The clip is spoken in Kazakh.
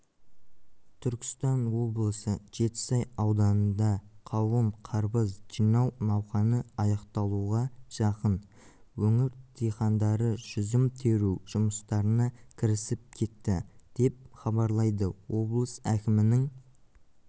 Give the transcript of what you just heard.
түркістан облысы жетісай ауданында қауын қарбыз жинау науқаны аяқталуға жақын өңір диқандары жүзім теру жұмыстарына кірісіп кетті деп хабарлайды облыс әкімінің